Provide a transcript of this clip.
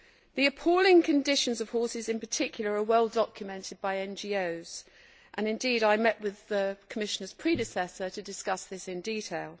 The appalling conditions suffered by horses in particular are well documented by NGOs, and indeed I met with the Commissioner's predecessor to discuss this in detail.